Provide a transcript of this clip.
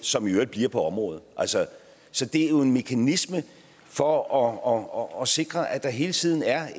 som i øvrigt bliver på området så det er en mekanisme for at sikre at der hele tiden er